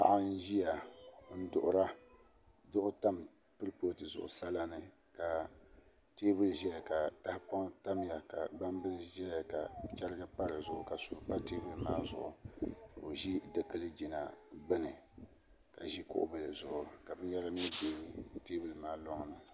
Paɣa n ʒiya n duɣura duɣu tam kurifooti zuɣu sala ni ka teebuli ʒɛya ka tahapoŋ tamya ka gbambili ʒɛya ka chɛrigi pa dizuɣu ka suu pa teebuli maa zuɣu ka o ʒi dikili jina gbuni ka ʒi kuɣu bili zuɣu ka binyɛra mii bɛ teebuli maa loŋni